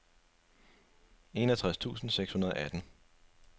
enogtres tusind seks hundrede og atten